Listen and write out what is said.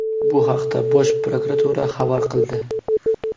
Bu haqda Bosh prokuratura xabar qildi .